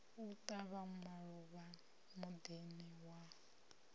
u tavha maluvha midini ya